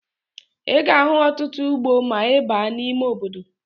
Ị ga-ahụ ọtụtụ ugbo ma ị baa n'ime obodo